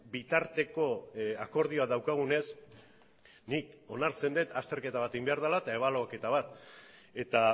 bitarteko akordioa daukagunez nik onartzen dut azterketa bat egin behar dela eta ebaluaketa bat eta